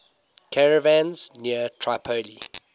caravans near tripoli